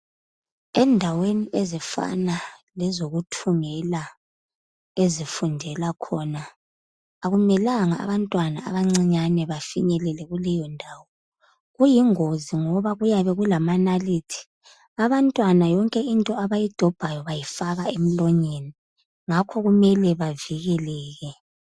Endaweni ezifana lezokuthungela okufundelwa khona, akumelanga abantwana abancinyane bafinyelele kuleyo ndawo. Kuyingozi ngoba kuyabe kulamanalithi. Abantwana yonke into abayidobhayo bayifaka emlonyeni. Ngakho kumele bavikeleke.